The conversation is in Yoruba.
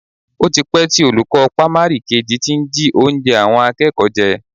O ti pẹ́ tí olùkọ́ pámárì kejì ti ń jí oúnjẹ àwọn akẹ́kọ̀ọ́ jẹ